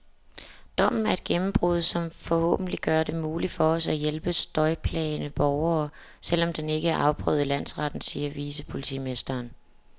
Dommen er et gennembrud, som forhåbentlig gør det muligt for os at hjælpe støjplagede borgere, selv om den ikke er afprøvet i landsretten, siger vicepolitimesteren.